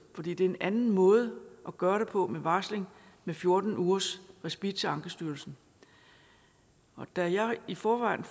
for det er en anden måde at gøre det på en varsling med fjorten ugers respit til ankestyrelsen og da jeg i forvejen